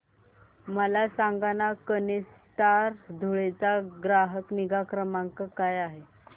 मला सांगाना केनस्टार धुळे चा ग्राहक निगा क्रमांक काय आहे